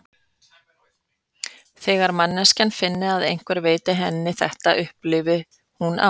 Þegar manneskjan finni að einhver veiti henni þetta, upplifi hún ást.